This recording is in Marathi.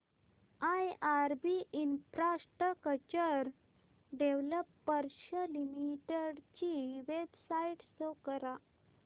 आयआरबी इन्फ्रास्ट्रक्चर डेव्हलपर्स लिमिटेड ची वेबसाइट शो करा